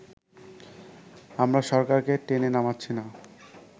আমরা সরকারকে টেনে নামাচ্ছি না